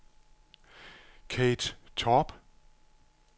Kathe Torp